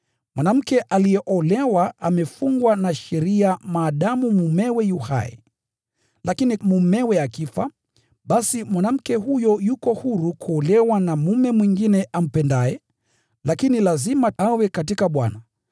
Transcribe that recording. Mwanamke aliyeolewa amefungwa na sheria maadamu mumewe yu hai. Lakini mumewe akifa, basi mwanamke huyo yuko huru kuolewa na mume mwingine ampendaye, lakini lazima awe katika Bwana.